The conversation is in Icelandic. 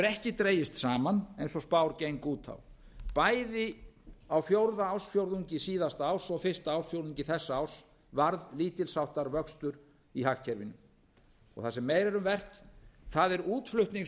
ekki dregist saman eins og spár gengu út á bæði á fjórða ársfjórðungi síðasta árs og fyrsta ársfjórðungi þessa árs varð lítils háttar vöxtur í hagkerfinu það sem meira er um vert það er útflutnings